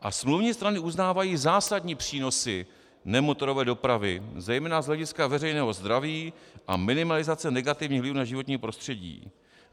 A smluvní strany uznávají zásadní přínosy nemotorové dopravy, zejména z hlediska veřejného zdraví a minimalizace negativních vlivů na životní prostředí.